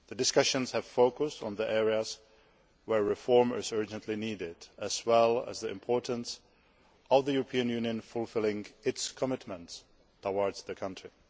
The discussions have focused on the areas where reform is urgently needed as well as the importance of the European Union fulfilling its commitments towards the country.